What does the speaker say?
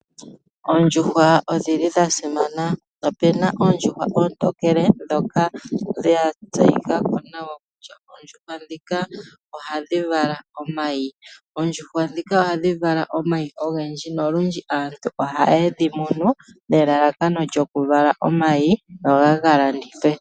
Oondjuhwa odhi li dhasimana ,opuna oondjuhwa ontokele dhoka dha tseyi ka ko nawa kutya oondjuhwa dhika ohadhi vala omayi, oondjuhwa dhika ohadhi vala omayi ogendji nolundji aantu ohaye dhi munu nelalakano lyokuvala omayi goga kalandithwe.